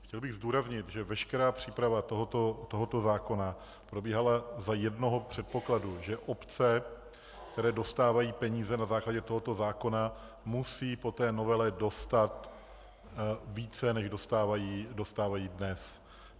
Chtěl bych zdůraznit, že veškerá příprava tohoto zákona probíhala za jednoho předpokladu, že obce, které dostávají peníze na základě tohoto zákona, musí po té novele dostat více, než dostávají dnes.